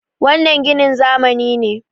wannan ginin zamani ne